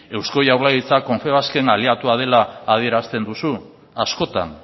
eusko jaurlaritza confebasken aliatua dela adierazten duzu askotan